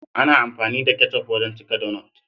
Ana amfani da ketchup wajan cika dunut.